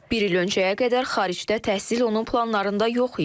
Bir il öncəyə qədər xaricdə təhsil onun planlarında yox idi.